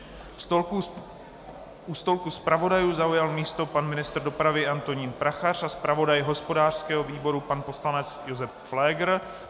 U stolku zpravodajů zaujal místo pan ministr dopravy Antonín Prachař a zpravodaj hospodářského výboru pan poslanec Josef Pfléger.